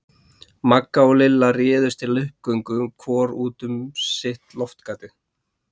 Magga og Lilla réðust til uppgöngu hvor út um sitt loftgatið.